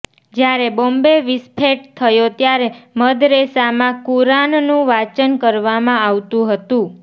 જ્યારે બોમ્બ વિસ્ફેટ થયો ત્યારે મદરેસામાં કુરાનનું વાંચન કરવામાં આવતું હતું